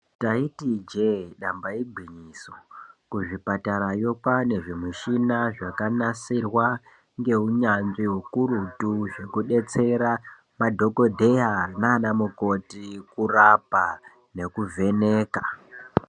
Taitiza ijee damba igwinyiso kuzvipatarayo kwaane zvimushina zvakanasirwa ngeunyanzvi ukurutu zvekubetsera madhokodheya nana mukoti kurapa nekuvheneka.